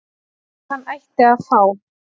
að hann ætti að fá